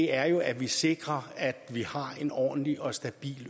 er jo at vi sikrer at vi har en ordentlig og stabil